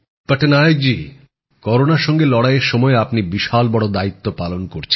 পটনায়ক জি করোনার সঙ্গে লড়াইয়ের সময় আপনি বিশাল বড় দায়িত্ব পালন করছেন